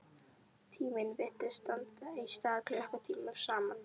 Tíminn virtist standa í stað klukkutímum saman.